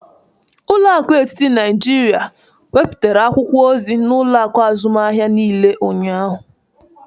Ụlọ akụ etiti Naịjirịa wepụtara akwụkwọ ozi n'ụlọakụ azụmahịa niile ụnyahụ